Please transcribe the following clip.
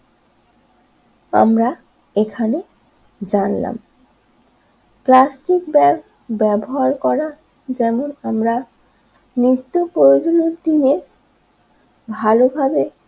আমরা এখানে জানলাম প্লাস্টিক ব্যাগ ব্যবহার করা যেমন আমরা তো প্রয়োজনীয় দিনে ভালোভাবে